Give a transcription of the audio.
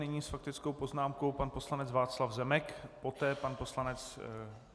Nyní s faktickou poznámkou pan poslanec Václav Zemek, poté pan poslanec...